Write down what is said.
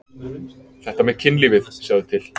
Þetta með kynlífið, sjáðu til.